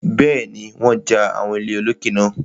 Bẹ́ẹ̀ni, wọ́n ja àwọn ilé olókè náà.